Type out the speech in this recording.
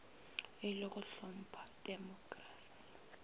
e le go hlompha temokrasi